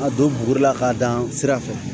A don buguri la k'a dan sira fɛ